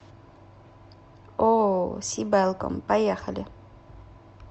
ооо сибэлком поехали